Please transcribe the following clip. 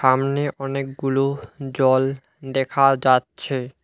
সামনে অনেকগুলো জল দেখা যাচ্ছে।